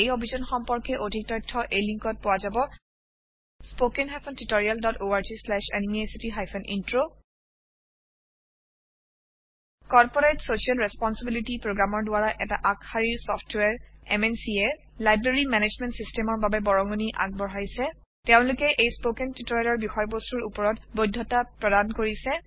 এই অভিযান সম্পৰ্কে অধিক তথ্য এই লিংকত পোৱা যাব httpspoken tutorialorgNMEICT Intro corporate social responsibility Programmeৰ দ্বাৰা এটা আগশাৰীৰ চফ্টৱেৰ MNCয়ে লাইব্ৰেৰী মেনেজমেণ্ট Systemৰ বাবে বৰঙনি আগবঢ়াইছে তেওলোকে এই স্পৌকেন টিওটৰিয়েলৰ বিষয়বস্তুৰ ওপৰত বৈধতা প্ৰদান কৰিছে